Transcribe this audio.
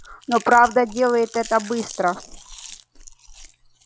но правда делает это быстро